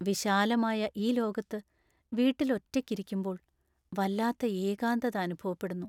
വിശാലമായ ഈ ലോകത്ത് വീട്ടിൽ ഒറ്റയ്ക്കിരിക്കുമ്പോൾ വല്ലാത്ത ഏകാന്തത അനുഭവപ്പെടുന്നു.